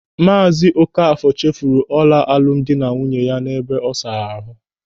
Maazị Ókafọ̀ chefuru ọla alụmdi na nwunye ya n'ebe ọ saara ahụ.